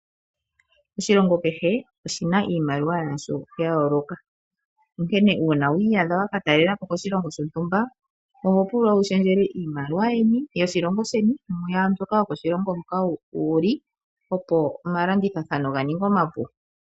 Oshilongo kehe oshi na iimaliwa yasho ya yooloka nonkene uuna wiiya dha waka talelapo koshilongo shontumba oho pulwa wu shendjele iimaliwa yeni yoshilongo sheni mu yaa mbyoka yokoshilongo hoka wuli opo omalandithathano ga ninge omapu.